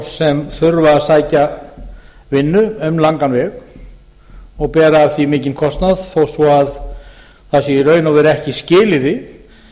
sem þurfa að sækja vinnu um langan veg og bera af því mikinn kostnað þó svo að það sé í raun og veru ekki skilyrði